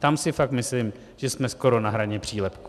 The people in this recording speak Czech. Tam si fakt myslím, že jsme skoro na hraně přílepku.